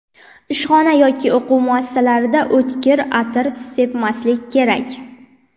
Ishxona yoki o‘quv muassasalarida o‘tkir atir sepmaslik kerak.